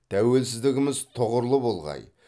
тәуелсіздігіміз тұғырлы болғай